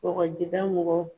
Kɔgɔjida mɔgɔw